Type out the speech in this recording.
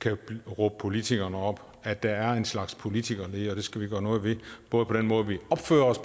kan råbe politikerne op at der er en slags politikerlede det skal vi gøre noget ved både på den måde vi opfører os